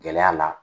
Gɛlɛya la